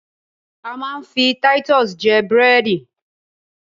A máa ń fi taitusì jẹ búrẹ́dì